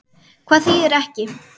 Hvað þýðir ekki?